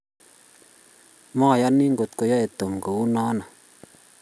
moyoni ngot koyoe Tom kou noe